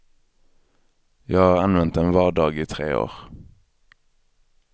Jag har använt den var dag i tre år.